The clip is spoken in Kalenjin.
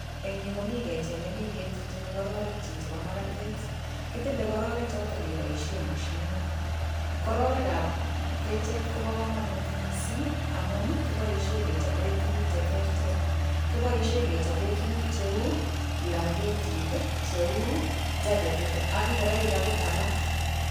En yuu komii kechee nemii ketilchin kororik chebo makatet, kitile kororik choton keboishen moshinit, kororikab kecheet kobokomonut mising amun kiboishen kechoben tukuk cheterter, kiboishen kechoben tukuk cheuu blangetit, cheuu chaketit ak ing'oroik akot alak.